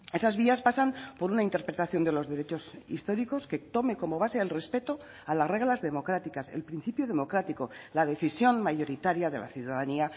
esas vías pasan por una interpretación de los derechos históricos que tome como base al respeto a las reglas democráticas el principio democrático la decisión mayoritaria de la ciudadanía